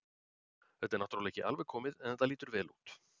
Þetta er náttúrulega ekki alveg komið en þetta lýtur vel út.